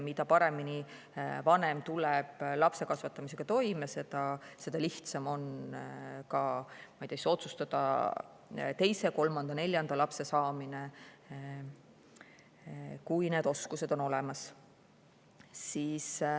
Mida paremini vanem tuleb oma lapse kasvatamisega toime, seda lihtsam on otsustada teise, kolmanda ja neljanda lapse saamine, kui need oskused on olemas.